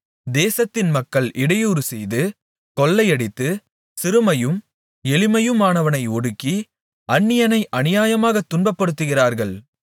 தேசத்தின் மக்கள் இடையூறு செய்து கொள்ளையடித்து சிறுமையும் எளிமையுமானவனை ஒடுக்கி அந்நியனை அநியாயமாகத் துன்பப்படுத்துகிறார்கள்